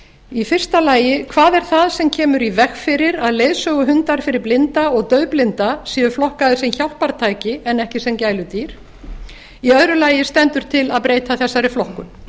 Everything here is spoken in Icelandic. í fyrsta lagi hvað er það sem kemur í veg fyrir að leiðsöguhundar fyrir blinda og daufblinda séu flokkaðir sem hjálpartæki en ekki sem gæludýr í öðru lagi stendur til að breyta þessari flokkun